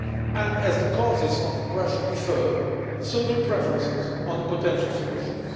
And as the causes of the pressure differ, so do preferences for potential solutions.